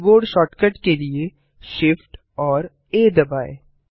keyboard shortcut के लिए Shift और आ दबाएँ